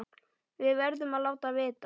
Við verðum að láta vita.